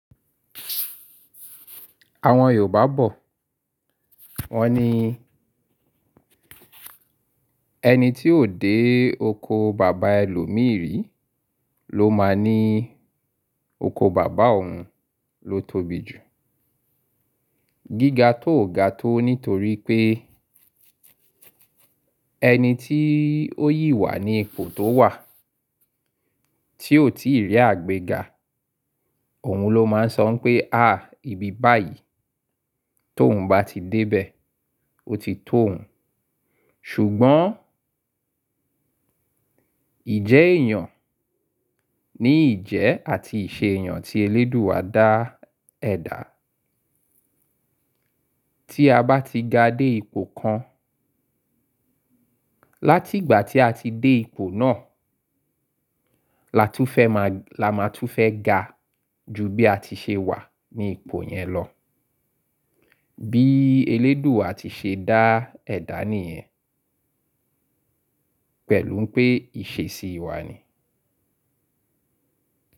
Àwọn Yorùbá bọ̀, wọ́n ní ẹni tí ò dé oko bàbá ẹlòmírì ló máa ní oko bàbá òun ló tóbi jù. Gíga tó ò ga tó nítorí pé ẹni tí ó yì wà ní ipò tó wà tí ò tíì rí àgbẹ̀ ga, òun ló máa ń sọ pé, "à, ibi báyìí tó ń bá ti dé bẹ, ó ti tó òun." ṣùgbọ́n ìjẹ́ èèyàn ni ìjẹ́ àti ìṣe èèyàn tí elédùù à dá ẹ̀dá. Tí a bá ti ga dé ipò kan, láti ìgbà tí a ti dé ipò náà, la máa tún fẹ́ ga ju bí a ti ṣe wà ní ipò yẹn lọ. Bí elédùù a ti ṣe dá ẹ̀dá nìyẹn, pẹ̀lú pé ìṣesí wa ni.